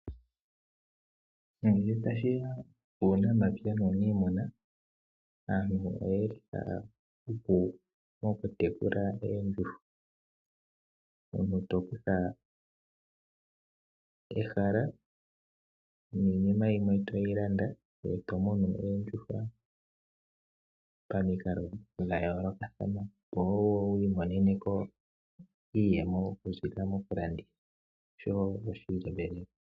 Ngele tashi ya puunamapya nuuniimuna aantu otaya hupu mokutekula oondjuhwa. Omuntu to kutha ehala niinima yimwe to yi landa ngoye to munu oondjuhwa pamikalo dha yoolokathana, opo wo wi imonene ko iiyemo okuziilila mokulanditha noshowo osheelelwa.